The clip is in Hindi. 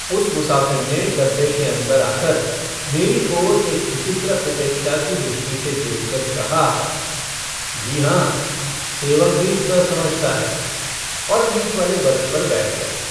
उस मुसाफिर ने डब्बे के अन्दर आकर मेरी ओर एक विचित्र उपेक्षा की दृष्टि से देखकर कहा - जी हाँ सेवक भी इतना समझता है। और बीचवाले बर्थ पर बैठ गया।